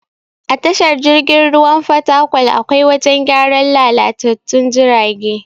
A tashar jirgin ruwan fatakwal akwai wajen gyaran lalatattun jirage.